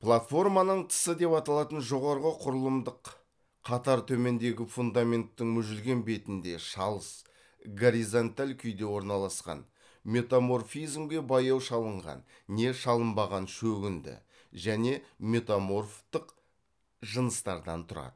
платформаның тысы деп аталатын жоғарғы құрылымдық қатар төмендегі фундаменттің мүжілген бетінде шалыс горизонталь күйде орналасқан метаморфизмге баяу шалынған не шалынбаған шөгінді және метаморфтық жыныстардан тұрады